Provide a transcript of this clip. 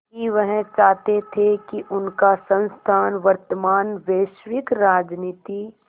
कि वह चाहते थे कि उनका संस्थान वर्तमान वैश्विक राजनीति